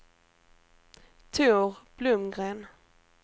Tor Blomgren